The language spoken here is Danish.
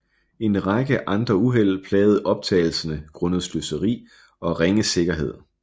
En række andre uheld plagede optagelserne grundet sløseri og ringe sikkerhed